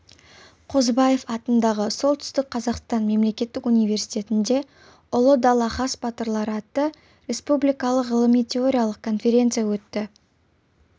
қозыбаев атындағы солтүстік қазақстан мемлекеттік университетінде ұлы даланың хас батырлары атты республикалық ғылыми-теориялық конференция өтті